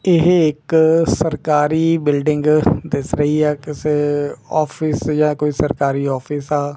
ਇਹ ਇੱਕ ਸਰਕਾਰੀ ਬਿਲਡਿੰਗ ਦਿੱਸ ਰਹੀ ਹੈ ਕਿਸੇ ਔਫਿਸ ਜਾ ਕੋਈ ਸਰਕਾਰੀ ਔਫਿਸ ਆ।